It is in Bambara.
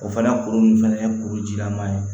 O fana kuru ninnu fana ye kurujilama ye